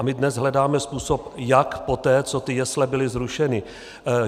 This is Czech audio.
A my dnes hledáme způsob, jak poté, co ty jesle byly zrušeny.